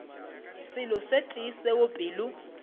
selo se tee seo pelo